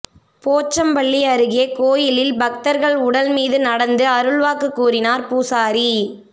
போச்சம்பள்ளி அருகே கோயிலில் பக்தர்கள் உடல் மீது நடந்து அருள்வாக்கு கூறினார் பூசாரி